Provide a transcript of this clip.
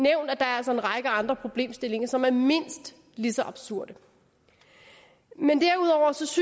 er altså en række andre problemstillinger som er mindst lige så absurde men derudover synes